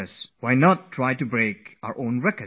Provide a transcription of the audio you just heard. Why don't we decide to break our own previous record